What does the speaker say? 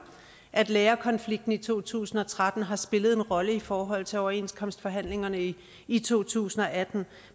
at lærerkonflikten i to tusind og tretten har spillet en rolle i forhold til overenskomstforhandlingerne i i to tusind og atten